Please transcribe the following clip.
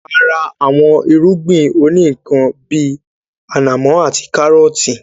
A ra àwọn irúgbìn òní ikán bíi ànàmọ́ àti káárọtii